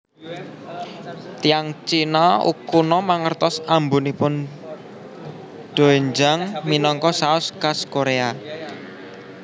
Tiyang Cina kuno mangertos ambunipun doenjang minangka saos khas Korea